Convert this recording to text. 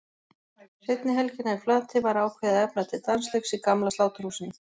Seinni helgina í Flatey var ákveðið að efna til dansleiks í gamla Sláturhúsinu.